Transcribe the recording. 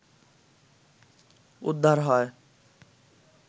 উদ্ধার হয়